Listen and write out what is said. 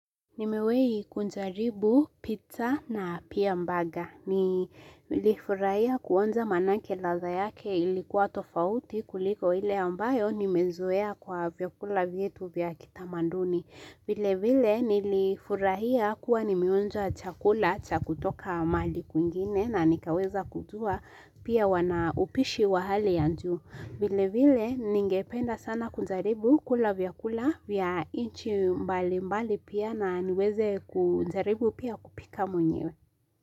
Nimewei kunjaribu pizza na pia mbaga. Nilifurahia kuonja manake ladha yake ilikuwa tofauti kuliko ile ambayo nimezoea kwa vyakula vyetu vya kitamanduni. Vile vile nilifurahia kuwa nimeonja chakula cha kutoka mali kwingine na nikaweza kujua pia wanaupishi wa hali ya juu. Vile vile ningependa sana kunjaribu kula vyakula vya inchi mbali mbali pia na niweze kunjaribu pia kupika mwenyewe.